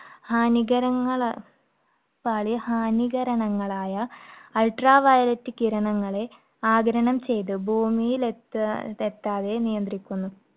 ഹാനികര~ ഹാനികരണങ്ങളായ ultraviolet കിരണങ്ങളെ ആഗിരണം ചെയ്തു ഭൂമിയിൽ എത്താ~എത്താതെ നിയന്ത്രിക്കുന്നു.